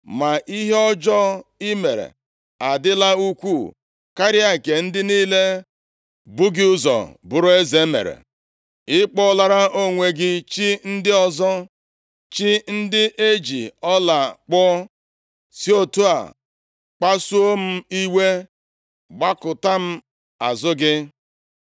+ 14:9 \+xt 1Ez 12:28; 2Ih 11:15\+xt* Ma ihe ọjọọ i mere adịla ukwuu karịa nke ndị niile bu gị ụzọ bụrụ eze mere. Ị kpụọlara onwe gị chi ndị ọzọ, chi ndị e ji ọla kpụọ, si otu a kpasuo m iwe, gbakụta m azụ gị.